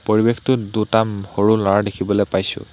পৰিৱেশটোত দুটা উম সৰু ল'ৰা দেখিবলৈ পাইছোঁ।